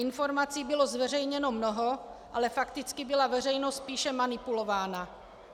Informací bylo zveřejněno mnoho, ale fakticky byla veřejnost spíše manipulována.